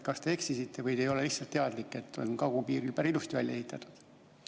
Kas te eksisite või te ei ole lihtsalt teadlik, et kagupiir on päris ilusti välja ehitatud?